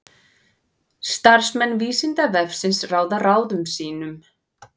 Starfsmenn Vísindavefsins ráða ráðum sínum.